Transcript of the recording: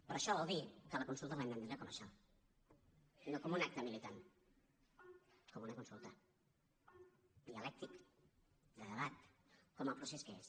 però això vol dir que la consulta l’hem d’entendre com això no com un acte militant com una consulta dialèctica de debat com a procés que és